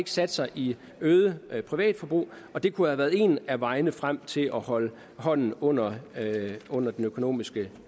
sat sig i øget privatforbrug og det kunne have været en af vejene frem til at holde hånden under under den økonomiske